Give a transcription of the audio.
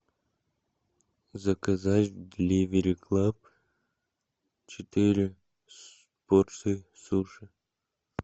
заказать деливери клаб четыре порции суши